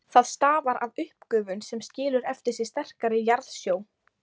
Það stafar af uppgufun sem skilur eftir sig sterkari jarðsjó.